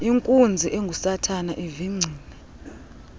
inkunzi engusathana ivingcile